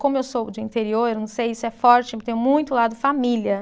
Como eu sou de interior, não sei se é forte, mas tem muito o lado família.